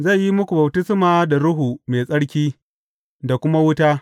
Zai yi muku baftisma da Ruhu Mai Tsarki da kuma wuta.